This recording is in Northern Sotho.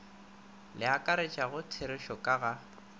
le akaretšago therešo ka ga